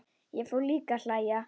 Ég fór líka að hlæja.